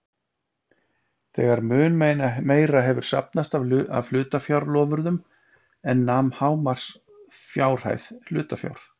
þegar mun meira hefur safnast af hlutafjárloforðum en nam hámarksfjárhæð hlutafjár.